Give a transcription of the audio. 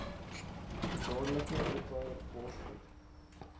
dadelik ophou borsvoed